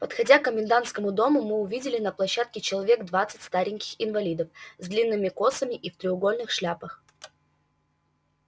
подходя к комендантскому дому мы увидели на площадке человек двадцать стареньких инвалидов с длинными косами и в треугольных шляпах